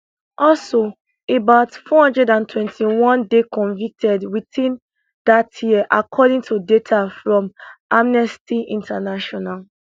also about 421 dey convicted within dat year according to data from amnesty international